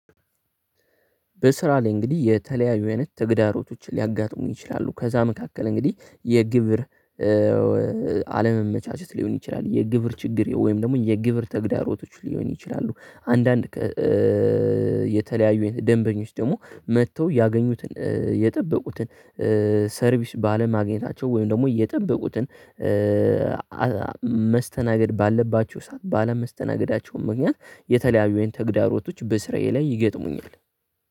በስራ ላይ እንግዲህ የተለያዩ አይነት ተግዳሮቶችን ሊያጋጥሙኝ ይችላሉ ከዛ መካከል እንግዲህ የግብር አለመመቻቸት ሊሆን ይችላል የግብር ችግር ወይም ደግሞ የግብር ተግዳሮቶች ሊሆን ይችላሉ አንዳንድ የተለያዩ ደንበኞች ደግሞ መጥተው ያገኙትን የጠበቁትን ሰርቪስ ባለማግኘታቸው ወይም ደግሞ የጠበቁትን መስተናገድ ባለባችሁ ሰዓት ባለመስተናገዳቸውም ምክንያት የተለያዩ አይነት ተግዳሮቶች በስራዬ ላይ ይገጥሙኛል።